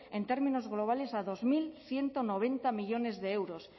en términos globales a dos mil ciento noventa millónes de euros